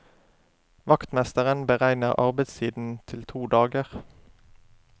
Vaktmesteren beregner arbeidstiden til to dager.